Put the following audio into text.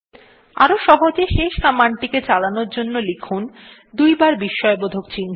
আরো সহজে শেষ কমান্ডটিকে চালানোর জন্য লিখুন দুইবার বিস্ময়বোধক চিহ্ন